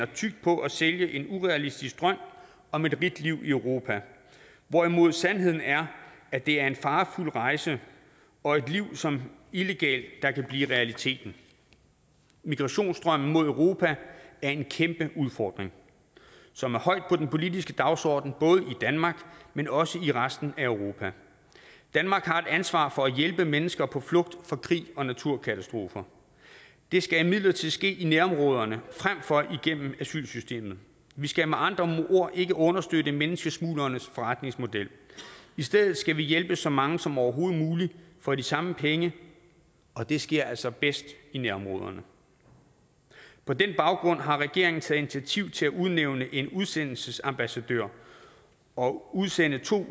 tykt på at sælge en urealistisk drøm om et rigt liv i europa hvorimod sandheden er at det er en farefuld rejse og et liv som illegal der kan blive realiteten migrationsstrømmen mod europa er en kæmpe udfordring som er højt på den politiske dagsorden både i danmark men også i resten af europa danmark har et ansvar for at hjælpe mennesker på flugt fra krig og naturkatastrofer det skal imidlertid ske i nærområderne frem for igennem asylsystemet vi skal med andre ord ikke understøtte menneskesmuglernes forretningsmodel i stedet skal vi hjælpe så mange som overhovedet muligt for de samme penge og det sker altså bedst i nærområderne på den baggrund har regeringen taget initiativ til at udnævne en udsendelsesambassadør og udsende to